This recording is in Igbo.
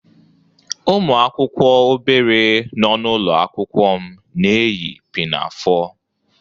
Ụmụ akwụkwọ obere nọ n'ụlọ akwụkwọ m na-eyi pinafore